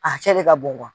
A cɛ de ka bon